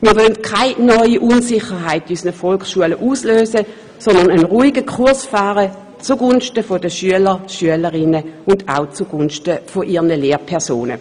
Wir wollen keine neue Unsicherheit in unseren Volksschulen auslösen, sondern einen ruhigen Kurs fahren zugunsten der Schülerinnen und Schüler wie auch zugunsten ihrer Lehrpersonen.